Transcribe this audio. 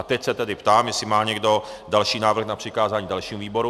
A teď se tedy ptám, jestli má někdo další návrh na přikázání dalšímu výboru?